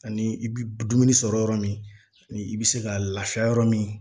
Ani i bi dumuni sɔrɔ yɔrɔ min ni i bi se ka lafiya yɔrɔ min